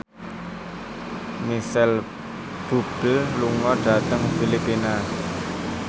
Micheal Bubble lunga dhateng Filipina